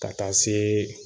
Ka taa se